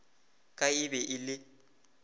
ka e be e le